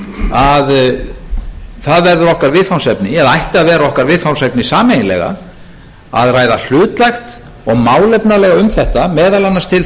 að það verður okkar viðfangsefni eða ætti að vera okkar viðfangsefni sameiginlega að ræða hlutlægt og málefnalega um þetta meðal annars til þess að þjóðin öll geti